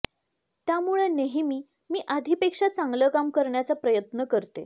त्यामुळे नेहमी मी आधीपेक्षा चांगलं काम करण्याचा प्रयत्न करते